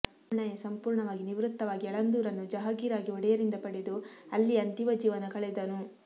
ಪೂರ್ಣಯ್ಯ ಸಂಪೂರ್ಣವಾಗಿ ನಿವೃತ್ತವಾಗಿ ಯಳಂದೂರನ್ನು ಜಾಹಗೀರ್ ಆಗಿ ಒಡೆಯರಿಂದ ಪಡೆದು ಅಲ್ಲಿಯೇ ಅಂತಿಮ ಜೀವನ ಕಳೆದನು